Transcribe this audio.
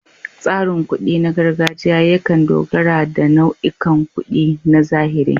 Tsarin kuɗi na gargajiya yakan dogara da nau'ikan kuɗi na zahiri.